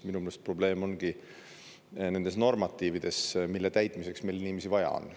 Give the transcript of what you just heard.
Minu meelest probleem ongi nendes normatiivides, mille täitmiseks meil inimesi vaja on.